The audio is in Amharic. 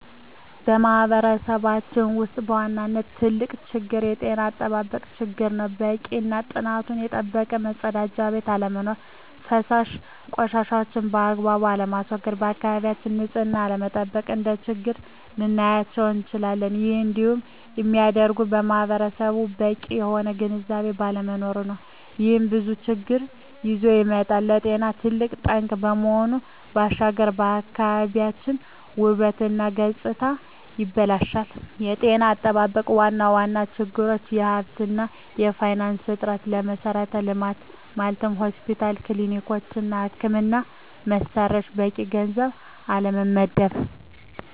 በማህበረሰባችን ውስጥ በዋናነት ትልቁ ችግር የጤና አጠባበቅ ችግር ነው። በቂ እና ጥራቱን የጠበቀ መፀዳጃ ቤት አለመኖር። ፈሳሽ ቆሻሻዎችን ባግባቡ አለማስዎገድ፣ የአካባቢን ንፅህና አለመጠበቅ፣ እንደ ችግር ልናያቸው እንችላለን። ይህም እንዲሆን የሚያደርገውም ማህበረሰቡ በቂ የሆነ ግንዝቤ ባለመኖሩ ነው። ይህም ብዙ ችግሮችን ይዞ ይመጣል። ለጤና ትልቅ ጠንቅ ከመሆኑ ባሻገር የአካባቢን ውበት እና ገፅታንም ያበላሻል። የጤና አጠባበቅ ዋና ዋና ችግሮች የሀብት እና የፋይናንስ እጥረት፣ ለመሠረተ ልማት (ሆስፒታሎች፣ ክሊኒኮች) እና የሕክምና መሣሪያዎች በቂ ገንዘብ አለመመደብ።